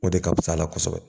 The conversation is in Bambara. O de ka fisa a la kosɛbɛ